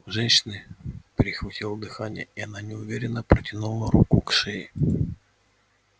у женщины перехватило дыхание и она неуверенно протянула руку к шее